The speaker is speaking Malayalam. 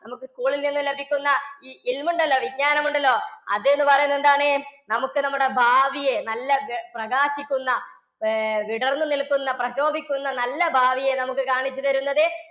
നമുക്ക് സ്കൂളിൽ നിന്നും ലഭിക്കുന്ന ഉണ്ടല്ലോ വിജ്ഞാനം ഉണ്ടല്ലോ അത് എന്ന് പറയുന്നത് എന്താണ്? നമുക്ക് നമ്മുടെ ഭാവിയെ നല്ല പ്രകാശിക്കുന്ന ഏർ വിടർന്നു നിൽക്കുന്ന പ്രശോഭിക്കുന്ന നല്ല ഭാവിയെ നമുക്ക് കാണിച്ചു തരുന്നത്